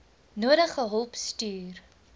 nodige hulp stuur